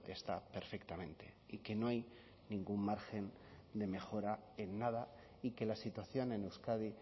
está perfectamente y que no hay ningún margen de mejora en nada y que la situación en euskadi